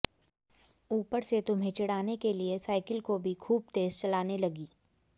ऊपर से तुम्हें चिढ़ाने के लिए साइकिल को भी खूब तेज चलाने लगी